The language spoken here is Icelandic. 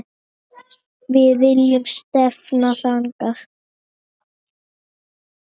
Við viljum stefna þangað.